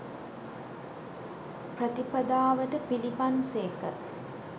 ප්‍රතිපදාවට පිළිපන් සේක.